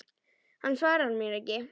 Hann svarar mér ekki.